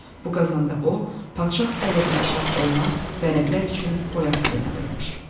Bu qazanda o, padşah əleyhinə çap olunan vərəqlər üçün boyaq qaynadırmış.